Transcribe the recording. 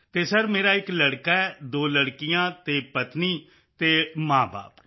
ਅਤੇ ਸਰ ਮੇਰਾ ਇੱਕ ਲੜਕਾ ਹੈ ਦੋ ਲੜਕੀਆਂ ਅਤੇ ਪਤਨੀ ਤੇ ਮਾਂਬਾਪ